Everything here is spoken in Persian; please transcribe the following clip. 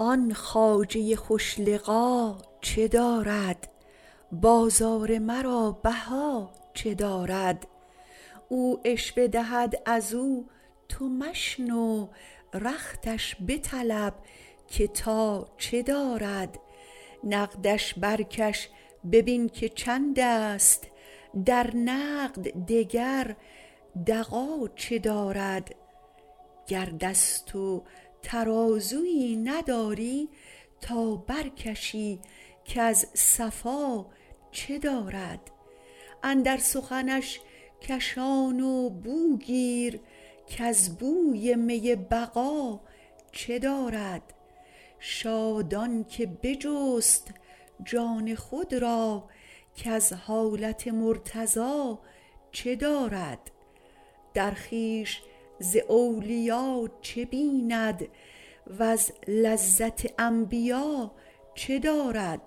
آن خواجه خوش لقا چه دارد بازار مرا بها چه دارد او عشوه دهد از او تو مشنو رختش بطلب که تا چه دارد نقدش برکش ببین که چندست در نقد دگر دغا چه دارد گر دست و ترازوی نداری تا برکشی کز صفا چه دارد اندر سخنش کشان و بو گیر کز بوی می بقا چه دارد شاد آن که بجست جان خود را کز حالت مرتضا چه دارد در خویش ز اولیا چه بیند وز لذت انبیا چه دارد